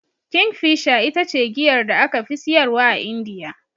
Kingfisher ita ce giyar da aka fi siyarwa a Indiya.